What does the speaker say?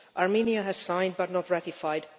Armenia has signed but not ratified